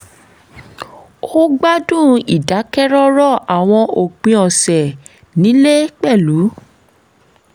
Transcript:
ó gbádùn ìdákẹ́rọ́rọ̀ àwọn òpin ọ̀sẹ̀ nílé pẹ̀lú